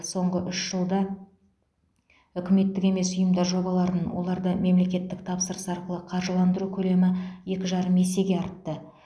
соңғы үш жылда үкіметтік емес ұйымдар жобаларын оларды мемлекеттік тапсырыс арқылы қаржыландыру көлемі екі жарым есеге артты